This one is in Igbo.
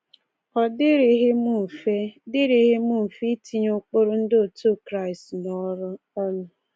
Ọ dịrịghị m mfe dịrịghị m mfe itinye ụkpụrụ ndị otu Kraịst n’ọrụ. um